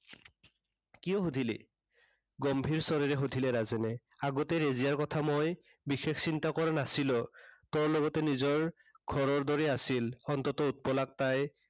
কিয় সুধিলি? গম্ভীৰ স্বৰেৰে সুধিলে ৰাজেনে। আগতে ৰেজিয়াৰ কথা মই বিশেষ চিন্তা কৰা নাছিলো। তোৰ লগতো নিজৰ ঘৰৰ দৰে আছিল। অন্ততঃ উৎপলাক তাই